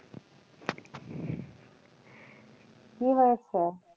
কী হয়েসে?